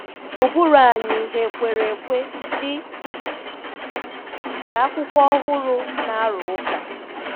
Ụbụrụ anyị hà kwere ekwe, dị ka akwụkwọ ọhụrụ na-arụ ụka?